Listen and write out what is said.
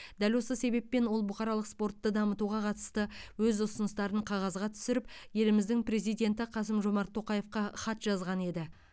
дәл осы себеппен ол бұқаралық спортты дамытуға қатысты өз ұсыныстарын қағазға түсіріп еліміздің президенті қасым жомарт тоқаевқа хат жазған еді